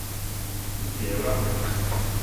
Niti evra?